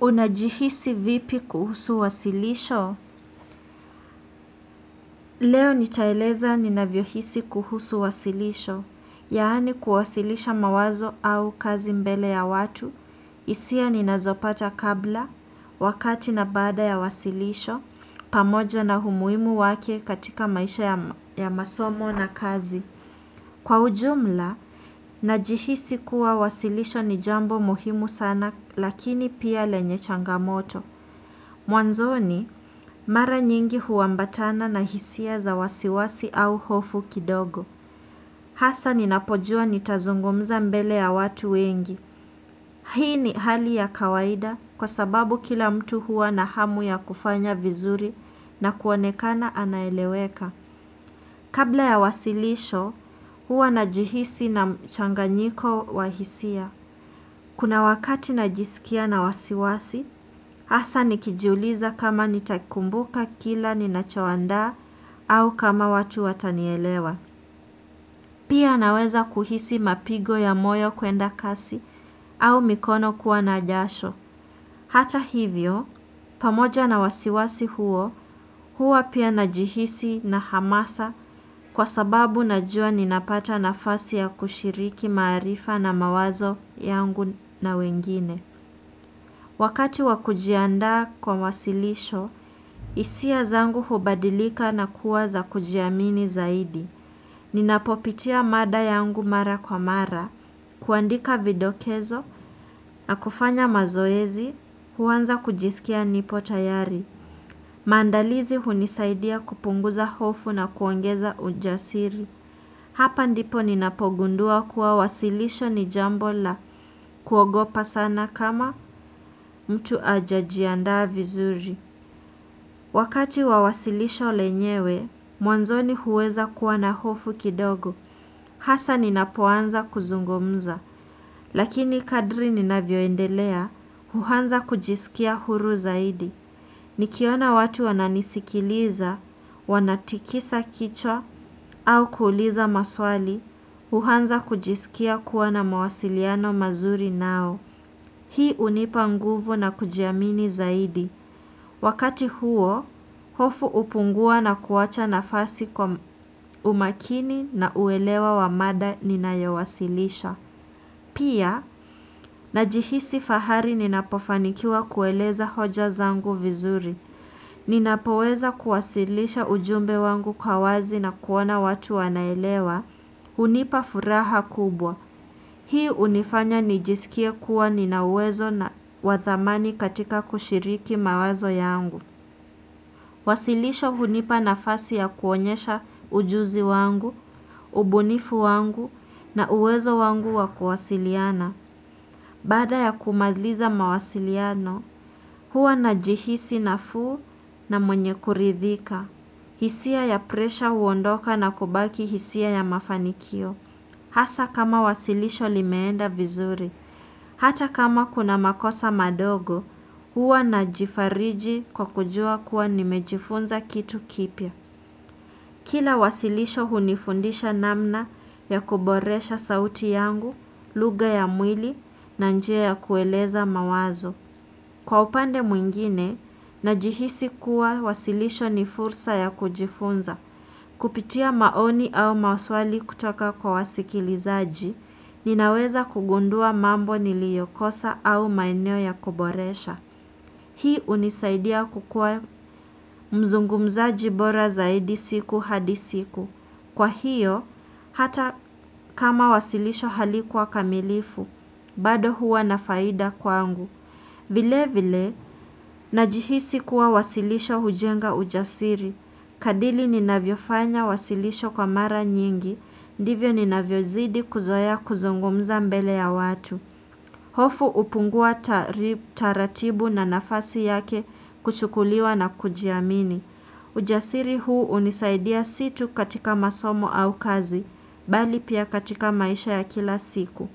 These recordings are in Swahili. Unajihisi vipi kuhusu wasilisho? Leo nitaeleza ninavyo hisi kuhusu wasilisho, yaani kuwasilisha mawazo au kazi mbele ya watu, hisia ninazopata kabla, wakati na baada ya wasilisho, pamoja na umuhimu wake katika maisha ya masomo na kazi. Kwa ujumla, najihisi kuwa wasilisho ni jambo muhimu sana lakini pia lenye changamoto. Mwanzoni, mara nyingi huwambatana na hisia za wasiwasi au hofu kidogo. Hasa ninapojua nitazungumza mbele ya watu wengi. Hii ni hali ya kawaida kwa sababu kila mtu huwa na hamu ya kufanya vizuri na kuonekana anaeleweka. Kabla ya wasilisho, huwa najihisi na changanyiko wa hisia. Kuna wakati najisikia na wasiwasi, hasa nikijuliza kama nitakumbuka kila ninachoandaa au kama watu watanielewa. Pia naweza kuhisi mapigo ya moyo kuenda kasi au mikono kuwa na jasho. Hata hivyo, pamoja na wasiwasi huo, huwa pia najihisi nahamasa kwa sababu najua ninapata na fasi ya kushiriki maarifa na mawazo yangu na wengine. Wakati wa kujianda kwa wasilisho, hisia zangu hubadilika na kuwa za kujiamini zaidi. Ninapopitia mada yangu mara kwa mara, kuandika vidokezo, na kufanya mazoezi, huanza kujisikia nipo tayari. Maandalizi hunisaidia kupunguza hofu na kuongeza ujasiri. Hapa ndipo ninapogundua kuwa wasilisho ni jambo la kuogopa sana kama mtu hajajiandaa vizuri. Wakati wa wasilisho lenyewe, mwanzoni huweza kuwa na hofu kidogo. Hasa ninapoanza kuzungumza, lakini kadri ninavyoendelea, huanza kujisikia huru zaidi. Nikiona watu wananisikiliza, wanatikisa kichwa au kuuliza maswali, huanza kujisikia kuwa na mawasiliano mazuri nao. Hii hunipa nguvu na kujiamini zaidi. Wakati huo, hofu hupungua na kuwacha nafasi kwa umakini na uelewa wa mada ninayowasilisha. Pia, najihisi fahari ninapofanikiwa kueleza hoja zangu vizuri. Ninapoweza kuwasilisha ujumbe wangu kwa wazi na kuona watu wanaelewa. Hunipa furaha kubwa. Hii hunifanya nijisikie kuwa ninauwezo na wathamani katika kushiriki mawazo yangu. Wasilisho hunipa na fasi ya kuonyesha ujuzi wangu, ubunifu wangu na uwezo wangu wa kuwasiliana. Baada ya kumaliza mawasiliano, huwa najihisi nafuu na mwenye kuridhika. Hisia ya presha huondoka na kubaki hisia ya mafanikio. Hasa kama wasilisho limenda vizuri. Hata kama kuna makosa madogo, huwa najifariji kwa kujua kuwa nimejifunza kitu kipya. Kila wasilisho hunifundisha namna ya kuboresha sauti yangu, lugha ya mwili na njia ya kueleza mawazo. Kwa upande mwingine, najihisi kuwa wasilisho nifursa ya kujifunza. Kupitia maoni au maswali kutoka kwa wasikilizaji, ninaweza kugundua mambo niliyokosa au maeneo ya kuboresha. Hii hunisaidia kukuwa mzungumzaji bora zaidi siku hadi siku. Kwa hiyo, hata kama wasilisho halikuwa kamilifu, bado huwa na faida kwangu. Vile vile, najihisi kuwa wasilisho hujenga ujasiri. Kadili ninavyofanya wasilisho kwa mara nyingi, ndivyo ninavyozidi kuzoea kuzungumza mbele ya watu. Hofu hupungua tarib taratibu na nafasi yake kuchukuliwa na kujiamini. Ujasiri huu hunisaidia si tu katika masomo au kazi, bali pia katika maisha ya kila siku.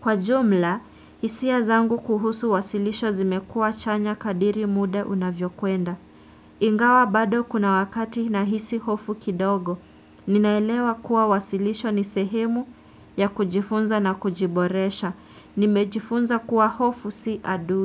Kwa jumla, hisia zangu kuhusu wasilisho zimekuwa chanya kadiri muda unavyo kwenda. Ingawa bado kuna wakati nahisi hofu kidogo. Ninaelewa kuwa wasilisho ni sehemu ya kujifunza na kujiboresha. Nimejifunza kuwa hofu si adui.